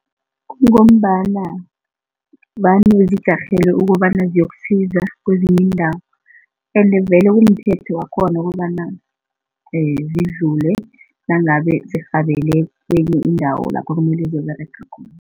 Kungombana vane zijarhele ukobana ziyokusiza kwezinye iindawo, ende vele kumthetho wakhona ukobana zidlule nangabe zirhabele kwenye indawo lapha kumele ziyokuberega khona.